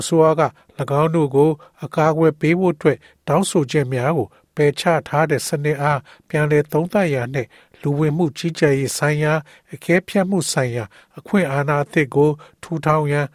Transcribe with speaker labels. Speaker 1: အစိုးရက ၎င်းတို့၏ အကာအကွယ်အတွက် တောင်းဆိုချက်များကို ပယ်ချထားသည့် စနစ်အား ပြန်လည်သုံးသပ်ရန်နှင့် လူဝင်မှုကြီးကြပ်ရေးဆိုင်ရာ အကဲဖြတ်မှုဆိုင်ရာ အခွင့်အာဏာအသစ်ကို ထူထောင်ရန်